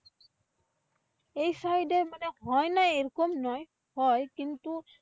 এই side এ মানে হয় না এইরকম নয় হয়। কিন্তু